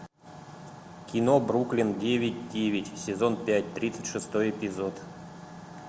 кино бруклин девять девять сезон пять тридцать шестой эпизод